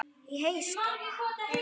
Í heyskap